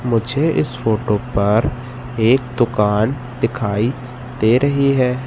मुझे इस फोटो पर एक दुकान दिखाई दे रही है।